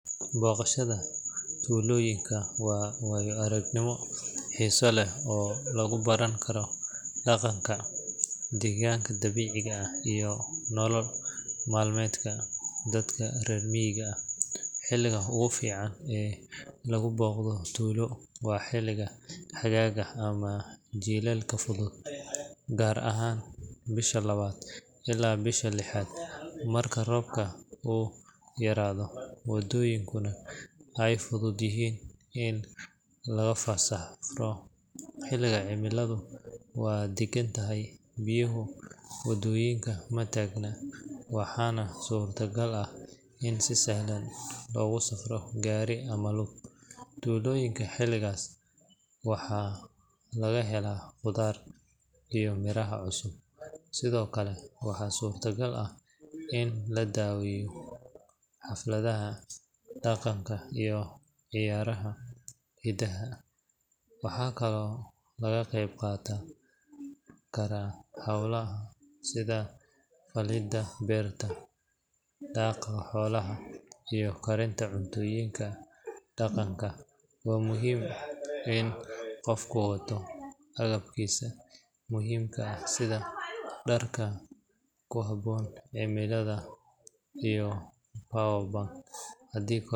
Booqashada tuulooyinka waa waayo-aragnimo xiiso leh oo lagu baran karo dhaqanka, deegaanka dabiiciga ah, iyo nolol maalmeedka dadka reer miyiga ah. Xilliga ugu fiican ee lagu booqdo tuulo waa xilliga xagaaga ama jiilaalka fudud, gaar ahaan bisha labaad ilaa bishan lixaad, marka roobka uu yaraado, waddooyinkuna ay fudud yihiin in lagu safro. Xilligan cimiladu waa deggan tahay, biyaha waddooyinka ma taagna, waxaana suurtagal ah in si sahlan loogu safro gaari ama lug. Tuulooyinka xilligaas waxaa laga helaa khudaar iyo miraha cusub, sidoo kale waxaa suurtagal ah in la daawado xafladaha dhaqanka iyo ciyaaraha hidaha. Waxaa kaloo laga qayb qaadan karaa hawlaha sida falidda beerta, daaqa xoolaha, iyo karinta cuntooyinka dhaqanka. Waxaa muhiim ah in qofku wato agabkiisa muhiimka ah sida dharka ku habboon cimilada iyo power bank haddii.